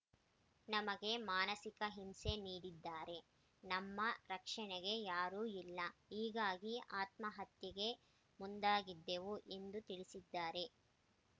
ನಮಗೆ ಮಾನಸಿಕ ಹಿಂಸೆ ನೀಡಿದ್ದಾರೆ ನಮ್ಮ ರಕ್ಷಣೆಗೆ ಯಾರೂ ಇಲ್ಲ ಹೀಗಾಗಿ ಆತ್ಮಹತ್ಯೆಗೆ ಮುಂದಾಗಿದ್ದೇವು ಎಂದು ತಿಳಿಸಿದ್ದಾರೆ